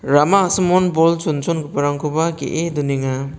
rama a·samon bol chonchongiparangkoba ge·e donenga.